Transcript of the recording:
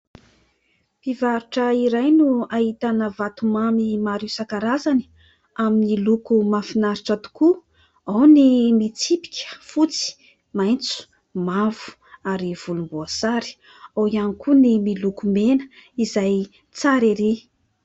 Mpivarotra iray no ahitana vatomamy maro isan-karazany amin'ny loko mahafinaritra tokoa : ao ny mitsipika fotsy, maitso, mavo ary volomboasary, ao ihany koa ny miloko mena izay tsary erỳ !